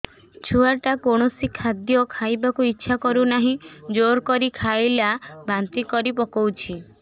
ଛୁଆ ଟା କୌଣସି ଖଦୀୟ ଖାଇବାକୁ ଈଛା କରୁନାହିଁ ଜୋର କରି ଖାଇଲା ବାନ୍ତି କରି ପକଉଛି